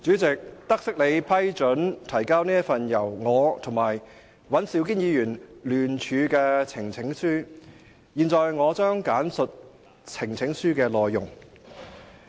主席，得悉你批准提交這份由我和尹兆堅議員聯署的呈請書，現在我將簡述呈請書的內容。